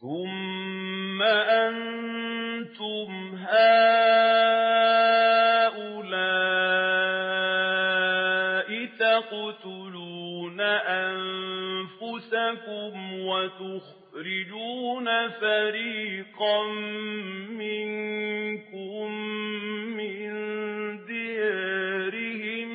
ثُمَّ أَنتُمْ هَٰؤُلَاءِ تَقْتُلُونَ أَنفُسَكُمْ وَتُخْرِجُونَ فَرِيقًا مِّنكُم مِّن دِيَارِهِمْ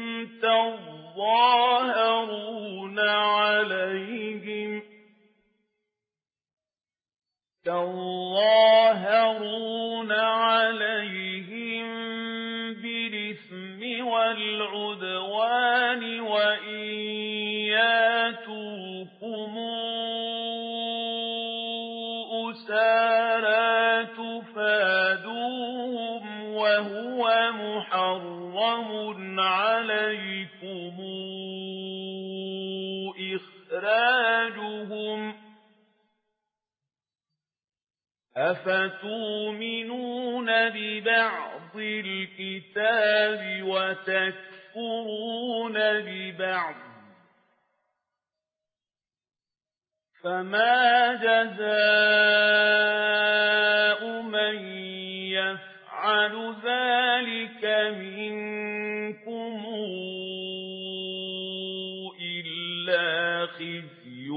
تَظَاهَرُونَ عَلَيْهِم بِالْإِثْمِ وَالْعُدْوَانِ وَإِن يَأْتُوكُمْ أُسَارَىٰ تُفَادُوهُمْ وَهُوَ مُحَرَّمٌ عَلَيْكُمْ إِخْرَاجُهُمْ ۚ أَفَتُؤْمِنُونَ بِبَعْضِ الْكِتَابِ وَتَكْفُرُونَ بِبَعْضٍ ۚ فَمَا جَزَاءُ مَن يَفْعَلُ ذَٰلِكَ مِنكُمْ إِلَّا خِزْيٌ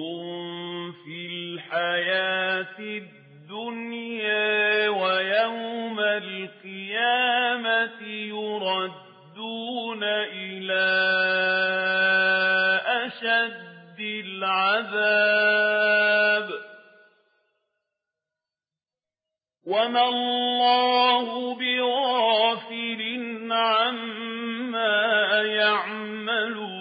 فِي الْحَيَاةِ الدُّنْيَا ۖ وَيَوْمَ الْقِيَامَةِ يُرَدُّونَ إِلَىٰ أَشَدِّ الْعَذَابِ ۗ وَمَا اللَّهُ بِغَافِلٍ عَمَّا تَعْمَلُونَ